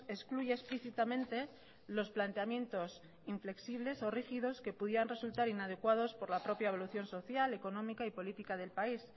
excluye explícitamente los planteamientos inflexibles o rígidos que pudieran resultar inadecuados por la propia evolución social económica y política del país